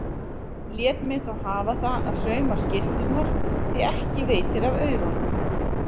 Lét mig þó hafa það að sauma skyrturnar því ekki veitir af aurunum.